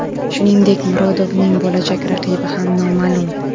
Shuningdek, Murodovning bo‘lajak raqibi ham noma’lum.